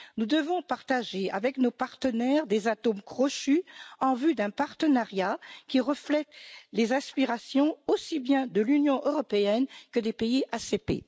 Nous devons avoir avec nos partenaires des atomes crochus en vue d'un partenariat qui reflète les aspirations aussi bien de l'Union européenne que des pays ACP.